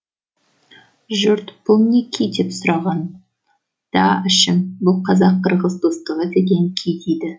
жұрт бұл не күй деп сұрағанда әшім бұл қазақ қырғыз достығы деген күй дейді